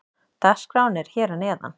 Dagskráin er hér að neðan.